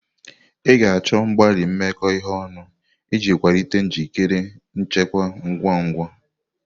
A ga-achọ mgbalị imekọ ihe ọnụ iji kwalite njikere nchekwa ngwa ngwa.